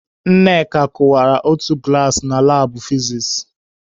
Nneka kụwara otu glaasị na labụ fizis.